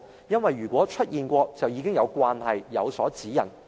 因為如果曾經出現，便已經有慣例或有所指引。